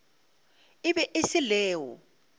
e be e se leo